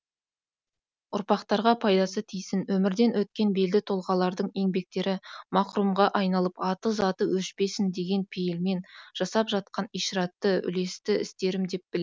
ұрпақтарға пайдасы тисін өмірден өткен белді тұлғалардың еңбектері мақұрымға айналып аты заты өшпесін деген пейілмен жасап жатқан ишаратты үлесті істерім деп